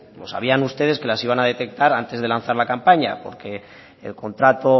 lo sabían ustedes que las iban a detectar antes de lanzar la campaña porque el contrato